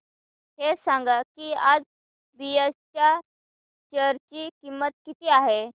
हे सांगा की आज बीएसई च्या शेअर ची किंमत किती आहे